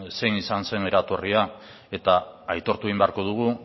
zein izan zen eratorria aitortu egin beharko dugu